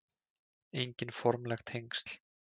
Engin formleg tengsl